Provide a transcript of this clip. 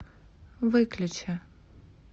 выключи